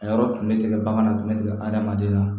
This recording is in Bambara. A yɔrɔ tun bɛ tigɛ baganna kun bɛ tigɛ adamaden na